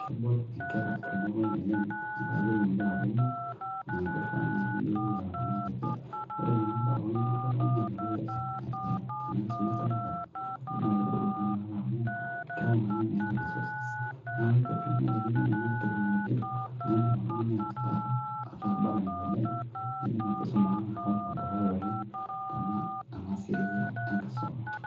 kebol inkera ilukuny, oleng metaa iyiolo kumok, naa kifaa naaji pee iyiolou eton ira kiti, ore kuna baa pookin nilo oltungani ayiolou, tena kisuma esekondari, naa kegolu naa inakata amu miata resources kake ore primary tenitum ena teknolojia, naa idim oltungani ataa abarani oleng, kidim enkisum ang ashomo dukuya oleng tena siai enkisuma.